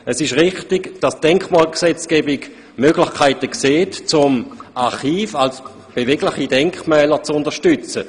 Es ist richtig, dass die Denkmalpflegegesetzgebung Möglichkeiten vorsieht, Archive als bewegliche Denkmäler zu unterstützen.